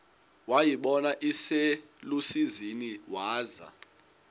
wayibona iselusizini waza